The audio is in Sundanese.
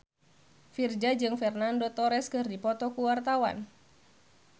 Virzha jeung Fernando Torres keur dipoto ku wartawan